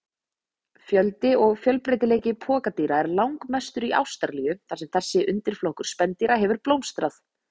Fjöldi og fjölbreytileiki pokadýra er langmestur í Ástralíu þar sem þessi undirflokkur spendýra hefur blómstrað.